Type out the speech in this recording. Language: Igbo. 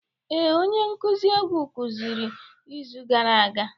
Ee, onye nkuzi egwu kụziri izu gara aga.